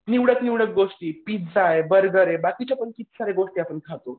निवडक निवडक गोष्टी पिझ्झा आहे, बर्गर आहे बाकीच्या पण किती साऱ्या गोष्टी आपण खातो.